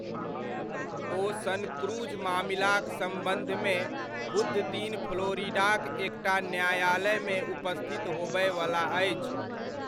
ओ सनक्रूज मामिलाक सम्बन्धमे बुधदिन फ्लोरिडाक एकटा न्यायालयमे उपस्थित होबयवला अछि।